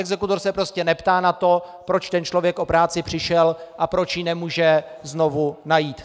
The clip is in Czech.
Exekutor se prostě neptá na to, proč ten člověk o práci přišel a proč ji nemůže znovu najít.